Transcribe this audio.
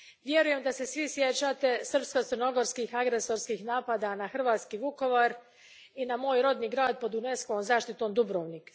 Vjerujem da se svi sjećate srpsko crnogorskih agresorskih napada na hrvatski Vukovar i na moj rodni grad, pod UNESCO vom zaštitom, Dubrovnik.